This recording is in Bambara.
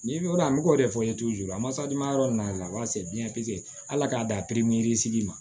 Ni o bɛ k'o de fɔ masa duman yɔrɔ nina ala k'a dan ma